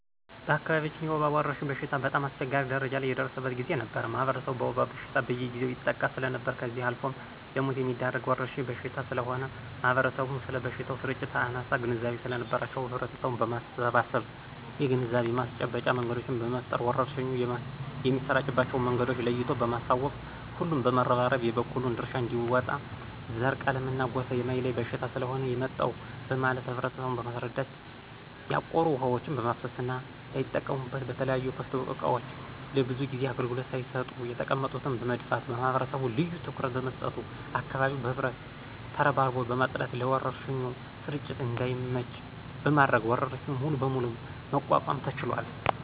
በአካባቢያችን የወባ ወረርሽኝ በሽታ በጣም አስቸጋሪ ደረጃ ላይ የደረሰበት ጊዜ ነበር ማህበረሰቡ በወባ በሽታ በየጊዜው ይጠቃ ሰለነበር ከዚህ አልፎም ለሞት የሚዳርግ ወረርሽኝ በሽታ ስለሆነ ማህበረሰቡም ስለበሽታው ስርጭት አናሳ ግንዛቤ ሰለነበራቸው ህብረተሰቡን በማሰባሰብ የግንዛቤ ማስጨበጫ መንገዶችን በመፍጠር ወረርሽኙ የሚሰራጭባቸው መንገዶችን ለይቶ በማሳወቅ ሁሉም በመረባረብ የበኩሉን ድርሻ አንዲወጣ ዘረ :ቀለምና ጎሳ የማይለይ በሽታ ስለሆነ የመጣው በማለት ማህበረሰቡን በማስረዳት ያቆሩ ውሀዎችን በማፋሰስና ላይጠቀሙበት በተለያዩ ክፍት እቃዎች ለብዙ ጊዜ አገልግሎት ሳይሰጡ የተቀመጡትን በመድፋት ማህበረሰቡ ልዮ ትኩረት በመስጠቱ አካባቢውን በህብረት ተረባርቦ በማጽዳት ለወረርሽኙ ስርጭት እዳይመች በማድረግ ወረርሽኙን ሙሉ በሙሉ መቋቋም ተችሏል።